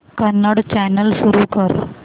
Kannada channel सुरू कर